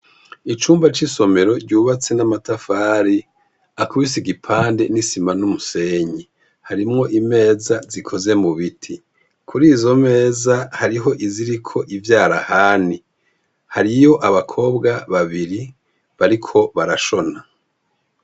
Icumba c'isomero ryubatse n'amatafari akubise igipande n'isima n'umusenyi. Harimwo imeza zikoze mu biti. Kuri izo meza hariho iziriko ivyarahani. Hariyo abakobwa babiri bariko barashona.